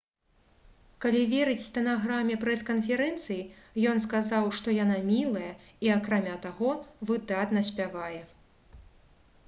калі верыць стэнаграме прэс-канферэнцыі ён сказаў «што яна мілая і акрамя таго выдатна спявае»